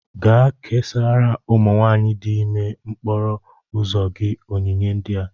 Gaa ka ị késárá ụmụ nwanyị ndị dị ímé n'okporo ụzọ gị onyinye ndị a